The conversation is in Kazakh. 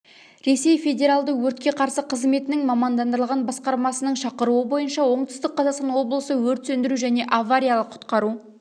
ресей федералды өртке қарсы қызметінің мамандандырылған басқармасының шақыруы бойынша оңтүстік қазақстан облысы өрт сөндіру және авариялық-құтқару